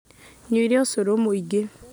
Nywire ũcũrũmũingĩ